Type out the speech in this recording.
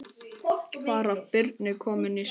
Var af Birni kominn Sveinn.